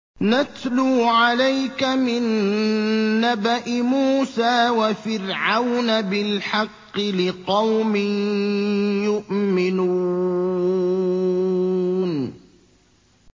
نَتْلُو عَلَيْكَ مِن نَّبَإِ مُوسَىٰ وَفِرْعَوْنَ بِالْحَقِّ لِقَوْمٍ يُؤْمِنُونَ